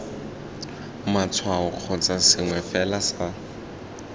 matshwao kgotsa sengwe fela sa